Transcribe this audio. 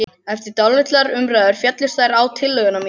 Eftir dálitlar umræður féllust þeir á tillögu mína.